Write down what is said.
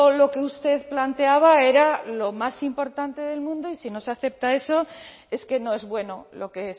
lo que usted planteaba era lo más importante del mundo y si no se acepta eso es que no es bueno lo que